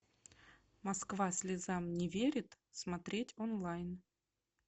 москва слезам не верит смотреть онлайн